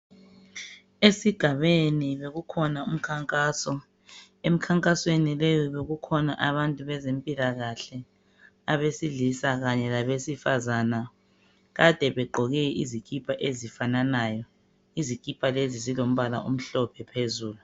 Esigabeni bekukhona umkhankaso, emnkankasweni leyo bekukhona abantu wezemphilakahle, abesilisa kanye labesifazana. Kade begqoke izikhipha ezifafanayo. Izikhathi lezi zilombala omhlophe phezulu.